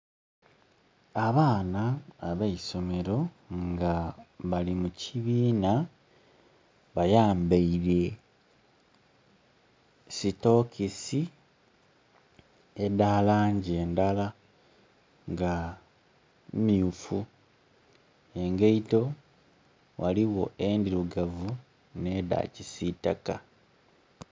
Abaana abeisomero nga bali mu kibina bayambaire sitokisi edha langi ndala nga myufu. Engaito ghaligho ndhirugavu ne da kisitaka.